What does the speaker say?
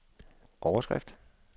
overskrift